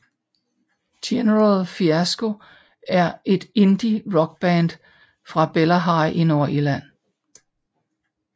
General Fiasco er et indie rockband fra Bellaghy i Nordirland